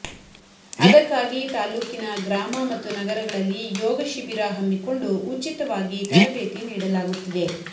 ಅದಕ್ಕಾಗಿ ತಾಲೂಕಿನ ಗ್ರಾಮ ಮತ್ತು ನಗರಗಳಲ್ಲಿ ಯೋಗಶಿಬಿರ ಹಮ್ಮಿಕೊಂಡು ಉಚಿತವಾಗಿ ತರಬೇತಿ ನೀಡಲಾಗುತ್ತಿದೆ